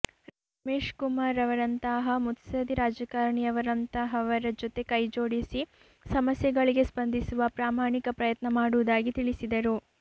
ರಮೇಶ್ಕುಮಾರ್ ರವರಂತಹ ಮುತ್ಸದಿ ರಾಜಕಾರಣಿಯವರಂತಹವರ ಜೊತೆ ಕೈಜೋಡಿಸಿ ಸಮಸ್ಯೆಗಳಿಗೆ ಸ್ಪಂದಿಸುವ ಪ್ರಾಮಾಣಿಕ ಪ್ರಯತ್ನ ಮಾಡುವುದಾಗಿ ತಿಳಿಸಿದರು